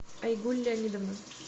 айгуль леонидовна